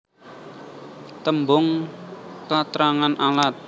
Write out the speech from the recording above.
Tembung katrangan alat